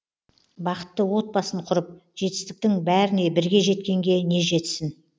бақытты отбасын құрып жетістіктің бәріне бірге жеткенге не жетсін